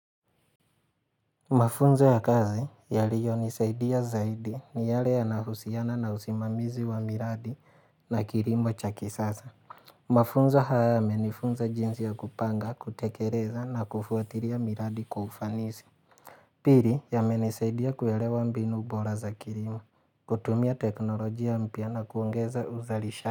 Mafunzo ya kazi yaliyonisaidia zaidi ni yale yanahusiana na usimamizi wa miradi na kirimo cha kisasa. Mafunzo haya yamenifunza jinsi ya kupanga, kutekereza na kufuatiria miradi kwa ufanisi. Piri yamenisaidia kuelewa mbinu bora za kirimo, kutumia teknolojia mpya na kuongeza uzalisha.